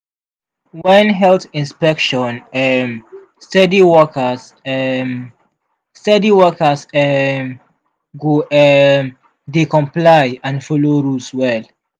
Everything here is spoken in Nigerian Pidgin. when health inspection um steady workers um steady workers um go um dey comply and follow rules well.